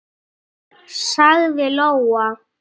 sagði Lóa.